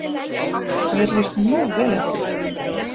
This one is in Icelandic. Mér líst mjög vel á þetta